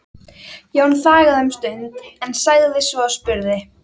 Jón þagði um stund en sagði svo og spurði